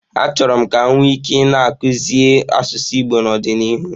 Achọrọ m ka m nwee ike na-akuzie asụsụ Igbo n'ọdịnihu.